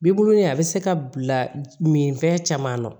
Bibulon nin a bɛ se ka bila minfɛn caman na